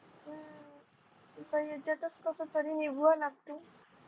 हम्म आता ह्यांच्यातच कसतरी निभवाव लागतंय